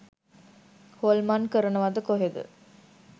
හොල්මන් කරනවද කොහෙද.